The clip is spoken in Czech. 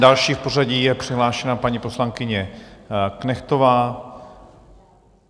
Další v pořadí je přihlášena paní poslankyně Knechtová.